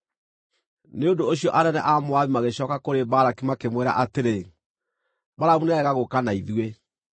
Nĩ ũndũ ũcio anene a Moabi magĩcooka kũrĩ Balaki makĩmwĩra atĩrĩ, “Balamu nĩarega gũũka na ithuĩ.”